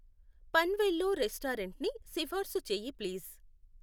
పన్వేల్లో రెస్టారెంట్ని సిఫార్సు చెయ్యి ప్లీజ్.